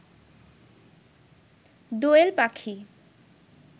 দোয়েল পাখি